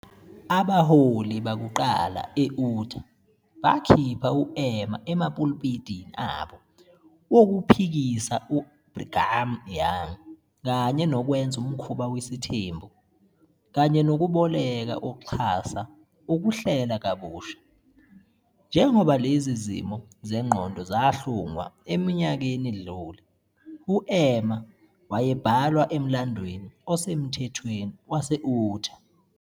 "Abaholi bakuqala e-Utah bakhipha u-Emma emapulpitini abo wokuphikisa uBrigham Young kanye nokwenza umkhuba wesithembu, kanye nokuboleka ukuxhasa ukuHlela kabusha. Njengoba lezi zimo zengqondo zahlungwa eminyakeni edlule, u-Emma wayebhalwa emlandweni osemthethweni wase-Utah.